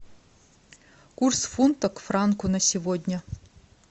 курс фунта к франку на сегодня